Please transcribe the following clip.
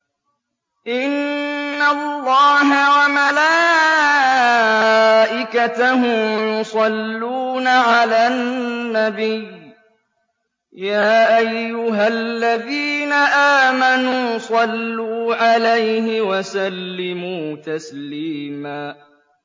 إِنَّ اللَّهَ وَمَلَائِكَتَهُ يُصَلُّونَ عَلَى النَّبِيِّ ۚ يَا أَيُّهَا الَّذِينَ آمَنُوا صَلُّوا عَلَيْهِ وَسَلِّمُوا تَسْلِيمًا